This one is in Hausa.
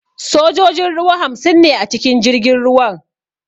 Sojojin ruwa hamsin ne a cikin jirgin ruwan